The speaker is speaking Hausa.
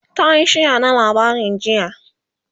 tayi share na labarin jiya